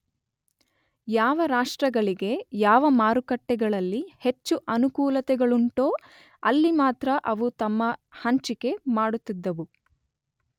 ಯಾವ ರಾಷ್ಟ್ರಗಳಿಗೆ ಯಾವ ಮಾರುಕಟ್ಟೆಗಳಲ್ಲಿ ಹೆಚ್ಚು ಅನುಕೂಲತೆಗಳುಂಟೋ ಅಲ್ಲಿ ಮಾತ್ರ ಅವು ತಮ್ಮ ಹಂಚಿಕೆ ಮಾಡುತ್ತಿದ್ದವು.